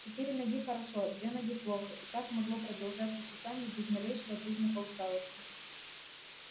четыре ноги хорошо две ноги плохо и так могло продолжаться часами без малейшего признака усталости